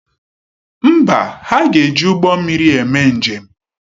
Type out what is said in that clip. Mba, ha ga-eji ụgbọ mmiri eme njem.